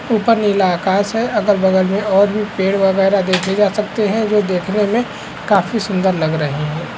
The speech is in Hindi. उपर नीला आकाश है अगल-बगल में और भी पेड़ वगैरा देखे जा सकते है उन्हें देखने में काफी सुंदर लग रहे हैं।